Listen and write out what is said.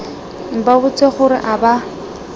ba botse gore a ba